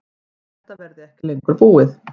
Við þetta verði ekki búið lengur